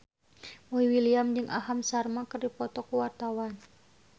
Boy William jeung Aham Sharma keur dipoto ku wartawan